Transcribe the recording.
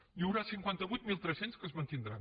n’hi haurà cinquanta vuit mil tres cents que es mantindran